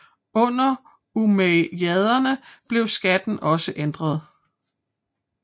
Under umayyaderne blev skatten også ændret